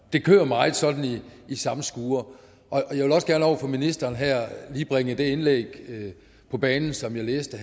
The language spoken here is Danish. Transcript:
det kører meget sådan i samme skure jeg vil også gerne over for ministeren her lige bringe det indlæg på banen som jeg læste